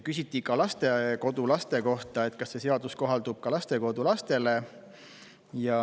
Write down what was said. Küsiti ka lastekodulaste kohta, kas see seadus kohaldub ka lastekodulastele.